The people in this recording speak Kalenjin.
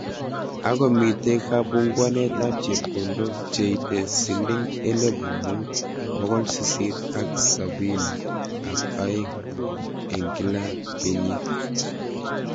Ako mitei kabunguanet ab chepkondok che ite siling elepu mut pokol sisit ak saponi ak aeng eng kila kenyit.